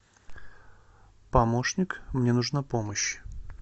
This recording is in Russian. помощник мне нужна помощь